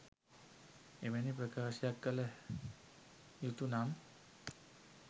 එවැනි ප්‍රකාශයක් කළ යුතු නම්